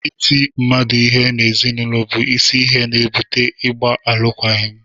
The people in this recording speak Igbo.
Ịtị mmadụ ihe n’ezinụlọ bụ isi ihe na-ebụte ịgba alụkwaghịm